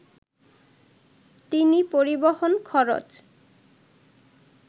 তিনি পরিবহণ খরচ